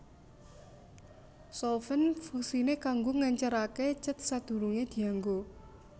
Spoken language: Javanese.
Solvent fungsiné kanggo ngèncèraké cèt sadurungé dianggo